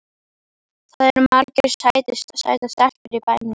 Það eru margar sætar stelpur í bænum.